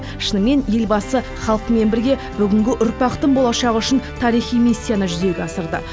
шынымен елбасы халқымен бірге бүгінгі ұрпақтың болашағы үшін тарихи миссияны жүзеге асырды